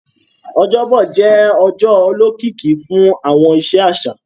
Ọjọ́bọ̀ jẹ́ ọjọ́ olókìkí fún àwọn iṣẹ́ àṣà